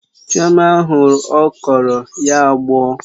Chioma hụ okro, ya agbọ̀ọ